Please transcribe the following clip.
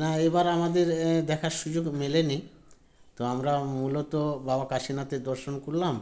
না এবার আমাদের এ দেখার সুযোগ মেলেনি তো আমরা মূলত বাবা কাশীনাথের দর্শন করলাম